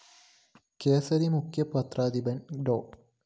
കേസരി മുഖ്യ പത്രാധിപര്‍ ഡോ